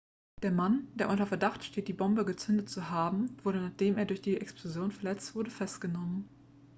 der mann der unter verdacht steht die bombe gezündet zu haben wurde nachdem er durch die explosion verletzt wurde festgenommen